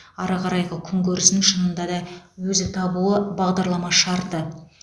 ары қарайғы күнкөрісін шынында да өзі табуы бағдарлама шарты